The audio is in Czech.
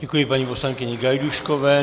Děkuji paní poslankyni Gajdůškové.